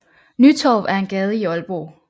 Nytorv er en gade i Aalborg